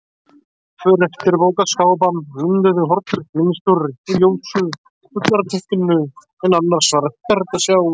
För eftir bókaskápa mynduðu hornrétt mynstur í ljósu ullarteppinu en annars var ekkert að sjá.